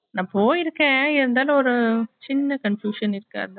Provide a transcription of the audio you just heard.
நா போயிருக்கே இருந்தாலும் ஒரு சின்ன confusion இருக்கு அதான்